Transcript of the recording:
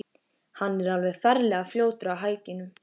Hann er alveg ferlega fljótur á hækjunum.